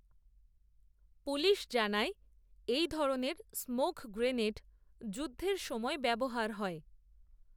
police জানায়, এই ধরনের স্মোক গ্রেনেড, যুদ্ধের সময় ব্যবহার হয়